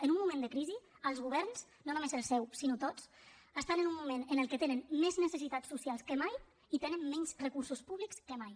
en un moment de crisi els governs no només el seu sinó tots estan en un moment en el que tenen més necessitats socials que mai i tenen menys recursos públics que mai